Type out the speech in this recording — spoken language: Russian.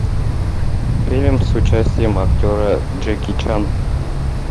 фильм с участием актера джеки чан